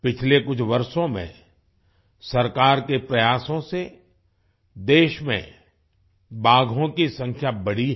पिछले कुछ वर्षों में सरकार के प्रयासों से देश में बाघों की संख्या बढ़ी है